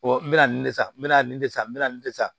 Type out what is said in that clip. n bɛ na nin de san me na nin de san n bɛ na nin de san